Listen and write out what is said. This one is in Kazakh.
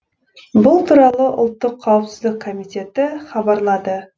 бұл туралы ұлттық қауіпсіздік комитеті хабарлады